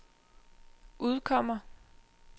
udkommer